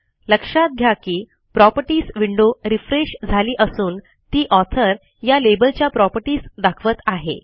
लक्षात घ्या की प्रॉपर्टीज विंडो रिफ्रेश झाली असून ती ऑथर या लेबलच्या प्रॉपर्टीज दाखवत आहे